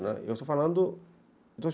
Né, eu estou falando